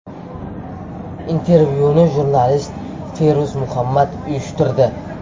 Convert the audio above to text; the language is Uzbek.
Intervyuni jurnalist Feruz Muhammad uyushtirdi.